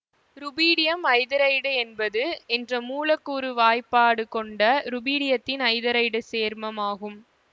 rubidium hydride என்பது என்ற மூலக்கூறு வாய்ப்பாடு கொண்ட ருபீடியத்தின் ஐதரைடு சேர்மம் ஆகும்